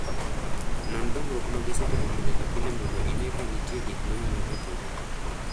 Non dongruok ma gisetimo pile ka pile mondo ine ka nitie gik manyalo kethogi.